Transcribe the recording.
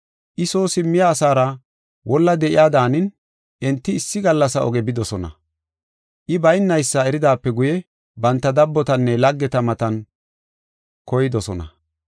I soo simmiya asaara wolla de7iya daanin enti issi gallasa oge bidosona. I baynaysa eridaape guye banta dabbotanne laggeta matan koydosona.